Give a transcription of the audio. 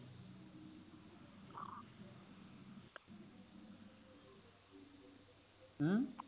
ਹਮ